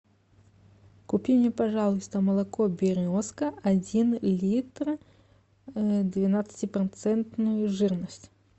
купи мне пожалуйста молоко березка один литр двенадцатипроцентную жирность